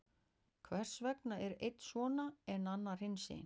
Hvers vegna er einn svona, en annar hinsegin?